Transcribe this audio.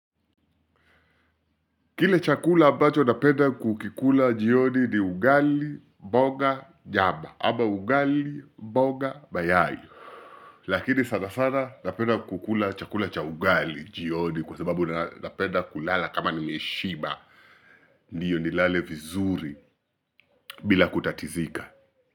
Kile chakula ambacho napenda kukikula jioni ni ugali, mboga, nyama ama ugali, mboga, mayai lakini sana sana napenda kukula chakula cha ugali jioni kwa sababu napenda kulala kama nimeshiba ndiyo nilale vizuri bila kutatizika.